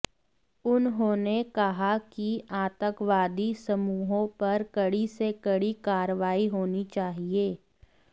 उन्होंने कहा कि आतंकवादी समूहों पर कड़ी से कड़ी कार्रवाई होनी चाहिए